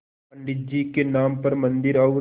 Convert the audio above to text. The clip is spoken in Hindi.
पंडित जी के नाम पर मन्दिर और